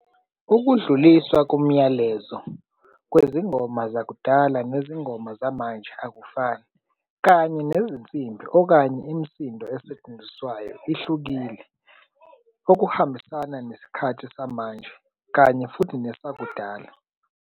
Ukudluliswa kumyalezo kwezingoma zakudala nezingoma zamanje akufani, kanye nezinsimbi okanye imisindo esetshenziswayo ihlukile, okuhambisana nesikhathi samanje, kanye futhi nesakudala.